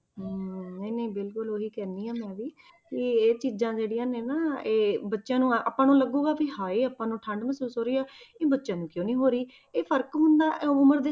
ਹਮ ਨਹੀਂ ਨਹੀਂ ਬਿਲਕੁਲ ਉਹੀ ਕਹਿੰਦੀ ਹਾਂ ਮੈਂ ਵੀ ਕਿ ਇਹ ਚੀਜ਼ਾਂ ਜਿਹੜੀਆਂ ਨੇ ਨਾ ਇਹ ਬੱਚਿਆਂ ਨੂੰ ਆਪਾਂ ਨੂੰ ਲੱਗੇਗਾ ਕਿ ਹਾਏ ਆਪਾਂ ਨੂੰ ਠੰਢ ਮਹਿਸੂਸ ਹੋ ਰਹੀ ਆ ਇਹ ਬੱਚਿਆਂ ਨੂੰ ਕਿਉਂ ਨੀ ਹੋ ਰਹੀ, ਇਹ ਫ਼ਰਕ ਹੁੰਦਾ ਇਹ ਉਮਰ ਦੇ